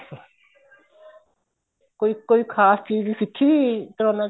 ਕੋਈ ਖ਼ਾਸ ਚੀਜ ਸਿੱਖੀ ਕਰੋਨਾ ਚ